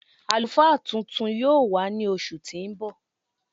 Alúfá tuntun yóò wà ní oṣù tí n bọ.